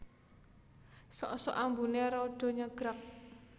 Sok sok ambuné rada nyegrak